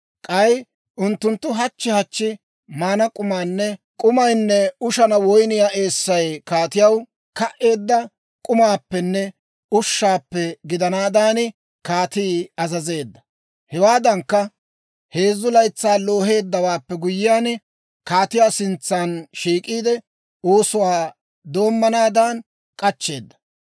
K'ay unttunttu hachchi hachchi maana k'umaynne ushana woyniyaa eessay kaatiyaw ka"eedda k'umaappenne ushshaappe gidanaadan, kaatii azazeedda. Hewaadankka, heezzu laytsaa looheeddawaappe guyyiyaan, kaatiyaa sintsa shiik'iide, oosuwaa doommanaadan k'achcheedda.